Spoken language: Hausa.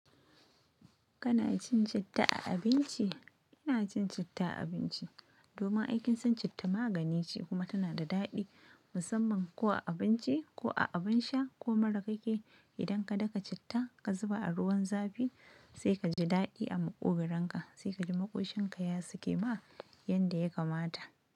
Kana cin citta a abinci? Ina cin citta a abinci domin aikin cin citta magani ce kuma tana da daɗi musamman ko a abinci ko a abin sha ko mura kake Idan ka daka citta ka zuba a ruwan zafi sai kaji daɗi a maƙuburanka sai kaji maƙoshinka ya sake ma yanda ya kamata.